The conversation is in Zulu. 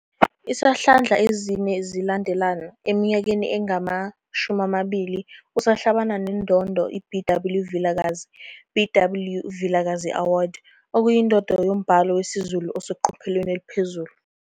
Izihlandla ezine zilandelalana, eminyakeni engama-20 usahlabana neNdondo iBW Vilakazi, "BW Vikazi Award", okuyindondo yombhalo wesiZulu oseqophelweni eliphezulu.